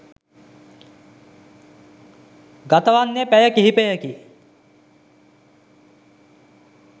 ගතවන්නේ පැය කිහිපයකි.